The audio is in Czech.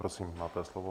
Prosím, máte slovo.